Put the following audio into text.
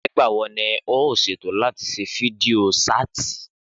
Nígbàwo ni o ṣètò láti ṣe fídíò ṣáàtì?